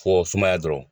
Fɔ sumaya dɔrɔn